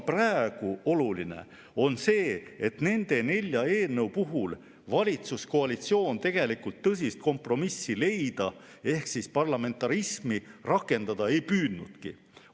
Praegu on oluline see, et nende nelja eelnõu puhul ei ole valitsuskoalitsioon tegelikult tõsist kompromissi leida ehk parlamentarismi rakendada püüdnudki.